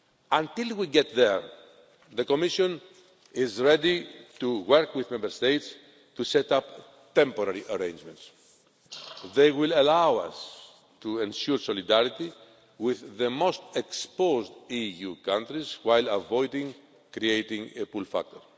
Until we get there the Commission is ready to work with Member States to set up temporary arrangements. They will allow us to ensure solidarity with the most exposed EU countries while avoiding creating a pull factor.